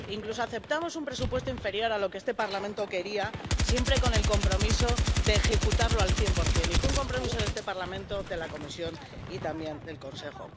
Incluso aceptamos un presupuesto inferior a lo que este Parlamento quería, siempre con el compromiso de ejecutarlo al cien por cien, y fue un compromiso de este Parlamento, de la Comisión y también del Consejo.